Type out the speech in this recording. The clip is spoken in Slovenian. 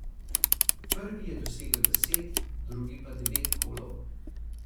Prvi je dosegel deset, drugi pa devet golov.